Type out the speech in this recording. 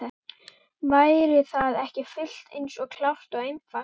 Væri það ekki fullt eins klárt og einfalt?